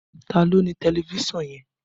Ta ló ní tẹlifísàn yẹn?